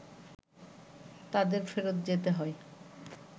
তাদের ফেরত যেতে হয়